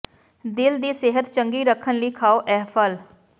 ਦਿਲ ਦੀ ਸਿਹਤ ਚੰਗੀ ਰੱਖਣ ਲਈ ਖਾਓ ਇਹ ਫ਼ਲ